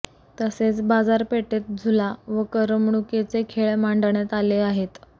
तसेच बाजारपेठेत झुला व करमणुकीचे खेळ मांडण्यात आले आहेत